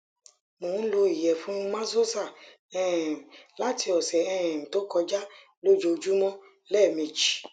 mo n lo iyefun maxoza um lati ọsẹ um to koja lojoojumọ lẹmeji